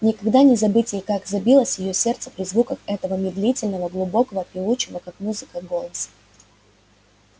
никогда не забыть ей как забилось её сердце при звуках этого медлительного глубокого певучего как музыка голоса